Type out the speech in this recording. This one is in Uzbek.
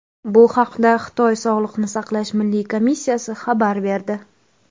Bu haqda Xitoy Sog‘liqni saqlash milliy komissiyasi xabar berdi .